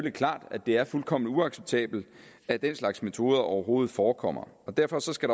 er klart at det er fuldkommen uacceptabelt at den slags metoder overhovedet forekommer og derfor skal